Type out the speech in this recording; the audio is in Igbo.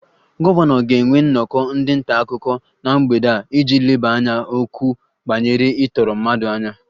Gọvanọ ga-enwe nnọkọ ndị nta akụkọ na mgbede a iji lebara okwu banyere ịtọrọ mmadụ anya